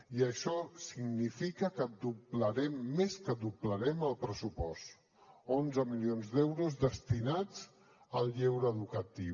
i això significa que doblarem més que doblarem el pressupost onze milions d’euros destinats al lleure educatiu